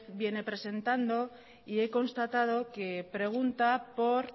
viene presentando y he constatado que pregunta por